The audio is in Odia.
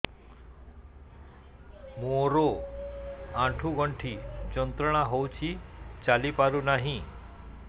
ମୋରୋ ଆଣ୍ଠୁଗଣ୍ଠି ଯନ୍ତ୍ରଣା ହଉଚି ଚାଲିପାରୁନାହିଁ